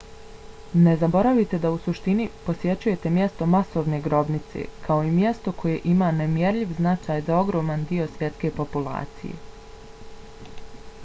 ne zaboravite da u suštini posjećujete mjesto masovne grobnice kao i mjesto koje ima nemjerljiv značaj za ogroman dio svjetske populacije